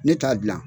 Ne t'a dilan